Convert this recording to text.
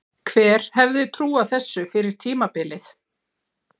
Hver hefði trúað þessu fyrir tímabilið?